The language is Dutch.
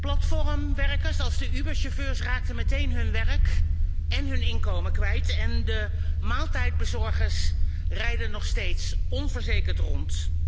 Platformwerkers als de Uber chauffeurs raakten meteen hun werk en hun inkomen kwijt en de maaltijdbezorgers rijden nog steeds onverzekerd rond.